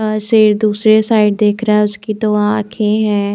अ शेर दूसरी साइड देख रहा है उसकी दो आंखे हैं।